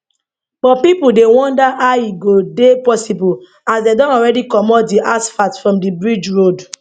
but pipo dey wonder how e go dey possible as dem don already comot di asphalt from di bridge road